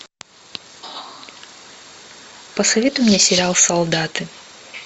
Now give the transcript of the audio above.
посоветуй мне сериал солдаты